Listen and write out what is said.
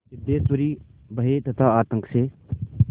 सिद्धेश्वरी भय तथा आतंक से